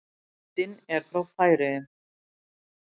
Myndin er frá Færeyjum.